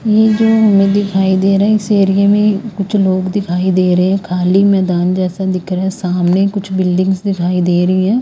ये जो हमें दिखाई दे रहे है इस एरिया में जो लोग दिखाई दे रहे है खाली मैदान जैसा दिख रहा है। सामने कुछ बिल्डिंगस दिखाई दे रही है।